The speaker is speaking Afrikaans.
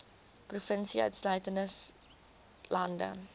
provinsie insluitende saoglande